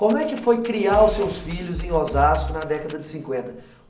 Como é que foi criar os seus filhos em Osasco na década de cinquenta?